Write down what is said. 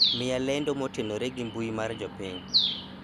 miya lendo motenore gi mbui mar jopiny